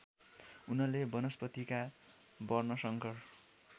उनले वनस्पतिका वर्णशंकर